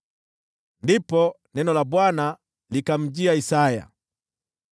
Ndipo neno la Bwana likamjia Isaya, kusema: